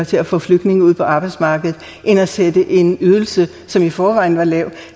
til at få flygtninge ud på arbejdsmarkedet end at sætte en ydelse som i forvejen var lav